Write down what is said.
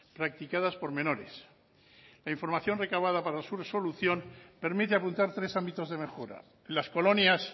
practicadas por menores la información recabada para su resolución permite apuntar tres ámbitos de mejora las colonias